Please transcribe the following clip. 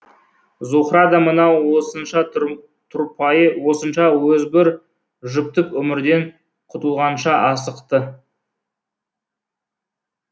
зуһра да мынау осынша тұрпайы осынша озбыр жүптық өмірден құтылғанша асықты